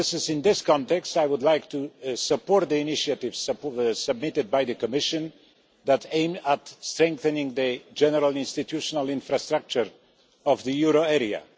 In this context, I would like to support the initiative submitted by the Commission that aims at strengthening the general institutional infrastructure of the euro area.